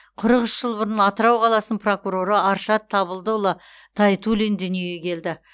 қырық үш жыл бұрын атырау қаласының прокуроры аршат табылдыұлы тайтуллин дүниеге келді